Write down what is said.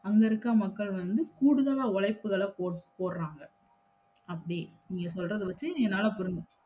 அங்கயிறுக்க மக்கள் வந்து கூடுதலா உழைப்புகள போட்~ போடுறாங்க அப்படி நீங்க சொல்லறத வச்சு என்னால புரிஞ்ச்க